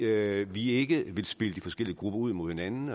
at vi ikke vil spille de forskellige grupper ud imod hinanden